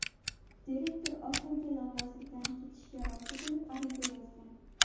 Direktor oxiri lavozimidan ketishga rozi bo‘lib, ariza yozgan.